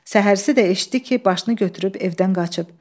Səhərsi də eşitdi ki, başını götürüb evdən qaçıb.